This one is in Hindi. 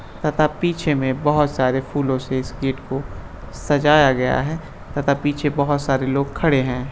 तथा पीछे में बोहोत सारे फूलों से इस गेट को सजाया गया है तथा पीछे बोहोत सारे लोग खड़े हैं।